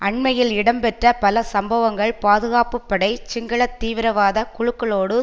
அண்மையில் இடம்பெற்ற பல சம்பவங்கள் பாதுகாப்பு படை சிங்கள தீவிரவாத குழுக்களோடு